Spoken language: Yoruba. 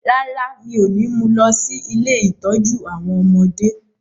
Rárá, mi ò ní mú lọ sí “ilé ìtọ́jú àwọn ọmọdé ”